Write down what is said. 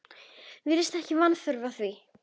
Virðist ekki vanþörf á því.